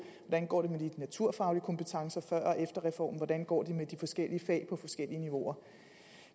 med de naturfaglige kompetencer før og efter reformen og hvordan det går med de forskellige fag på de forskellige niveauer